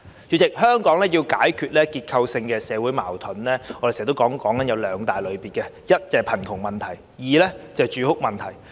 主席，香港要解決的結構性社會矛盾有兩大類別：一是貧窮，二是住屋。